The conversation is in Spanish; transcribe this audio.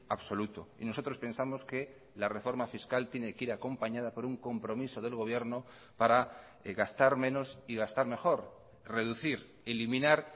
absoluto y nosotros pensamos que la reforma fiscal tiene que ir acompañada por un compromiso del gobierno para gastar menos y gastar mejor reducir eliminar